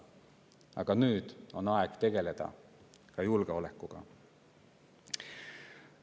Aga nüüd on aeg tegeleda ka julgeolekuga.